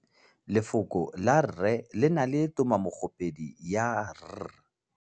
Lefoko la rre, le na le tumammogôpedi ya, r.